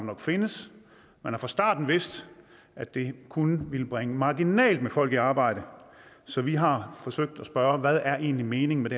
nok findes man har fra starten vidst at det kun ville bringe marginalt med folk i arbejde så vi har forsøgt at spørge hvad er egentlig meningen